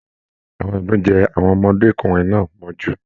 Àwọn idún jẹ àwọn ọmọdékunrin náà mọ́jú.